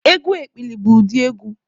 Egwu ekpili bụ ụdị egwu